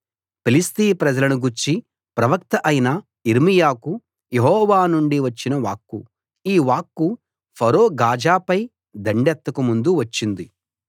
ఫిలిష్తీ ప్రజలను గూర్చి ప్రవక్త అయిన యిర్మీయాకు యెహోవా నుండి వచ్చిన వాక్కు ఈ వాక్కు ఫరో గాజా పై దండెత్తక ముందు వచ్చింది